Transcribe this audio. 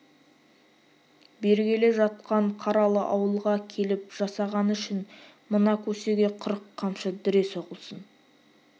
бергелі жатқан қаралы ауылға келіп жасағаны үшін мына көсеге қырық қамшы дүре соғылсын